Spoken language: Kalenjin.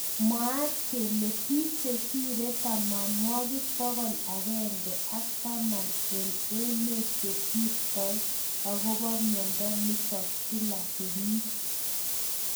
Mwaat kele bik chesirei tamanwakik bokol akenge ak taman eng emet chesirtoi akobo mnyendo notok kila kenyit.